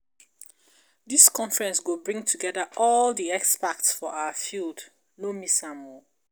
Dis conference go bring togeda all di experts for our field, no miss am.